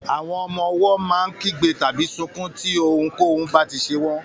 Àwọn ọmọ owó má n kígbe tàbí sunkún tí ohùn k'ohun ba tí ṣe wón